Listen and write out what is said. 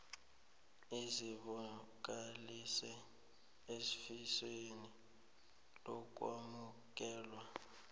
uzibonakalise eofisini lokwamukelwa